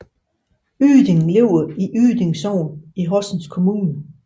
Yding ligger i Yding Sogn i Horsens Kommune